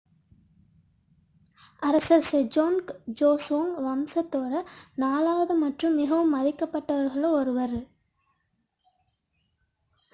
அரசர் Sejong Joseon வம்சத்தின் நான்காவது மற்றும் மிகவும் மதிக்கப் பட்டவர்களில் ஒருவரும் one ஆவார்